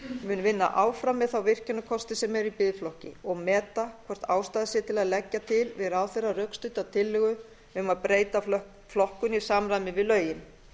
mun vinna áfram með þá virkjunarkosti sem eru í biðflokki og meta hvort ástæða sé til að leggja til við ráðherra rökstudda tillögu um að breyta flokkun í samræmi við lögin